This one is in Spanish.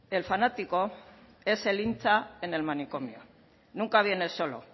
el fanático es el hincha en el manicomio nunca viene solo